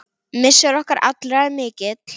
Missir okkar allra er mikill.